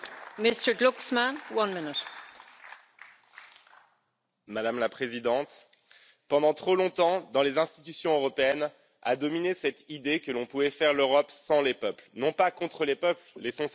Madame la Présidente, pendant trop longtemps dans les institutions européennes a dominé cette idée que l'on pouvait faire l'Europe sans les peuples, non pas contre les peuples laissons cette rhétorique aux nationalistes pour les peuples, certes, mais sans eux.